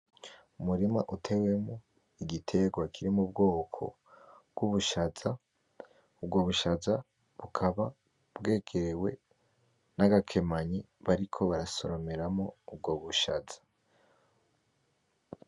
Umurima uteyemwo igitegwa kiri mubwoko bwubushaza ubwo bushaza bukaba bwegewe nagakemanyi bariko barasoromeramwo ubwo bushaza